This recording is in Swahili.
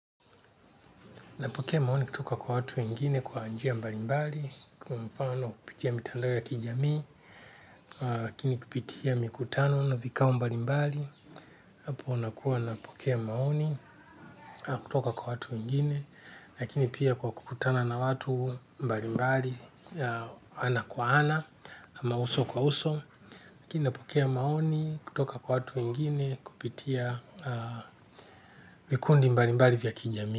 Napokea maoni kutoka kwa watu wengine kwa njia mbalimbali, kwa mifano kupitia mitandao ya kijamii, lakini kupitia mikutano na vikao mbalimbali, hapo nakuwa napokea maoni kutoka kwa watu wengine, lakini pia kwa kukutana na watu mbalimbali, ana kwa ana, ama uso kwa uso, lakini napokea maoni kutoka kwa watu wengine kupitia vikundi mbalimbali vya kijamii.